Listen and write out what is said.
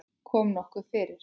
Kom nokkuð fyrir?